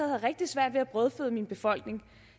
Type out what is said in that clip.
havde rigtig svært ved at brødføde min befolkning